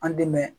An dɛmɛ